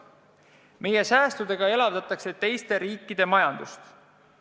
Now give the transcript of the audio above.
Meie säästudega elavdatakse teiste riikide majandust.